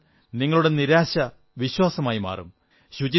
അതു കണ്ടാൽ നിങ്ങളുടെ നിരാശ വിശ്വാസമായി മാറും